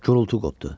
Gürultu qopdu.